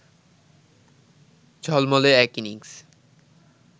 ঝলমলে এক ইনিংস